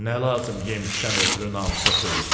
Nə lazım yemişdən ötrü namusa söyürsən?